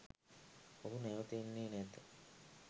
ඔහු නැවත එන්නේ නැත